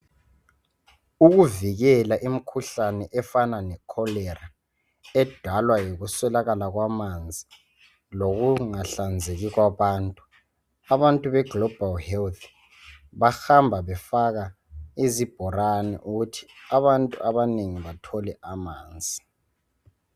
ukuvikela imikhuhlane efana le cholera edalwa yikuswelakala kwamanzi lokungahlanzeki kwabantu ,abantu be GLOBAL HEALTH bahamba befaka izibhorane ukuthi abantu abanengi bathole amanzi